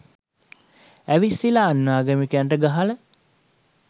ඇවිස්සිලා අන්‍යාගමිකයන්ට ගහල